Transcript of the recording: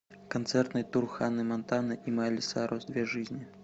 концертный тур ханны монтаны и майли сайрус две жизни